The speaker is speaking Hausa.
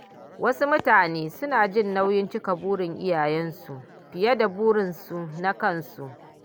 Wasu mutane suna jin nauyin cika burin iyayensu fiye da burinsu na kansu.